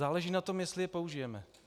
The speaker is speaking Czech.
Záleží na tom, jestli je použijeme.